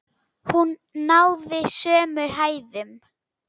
Hún náði sömu hæðum!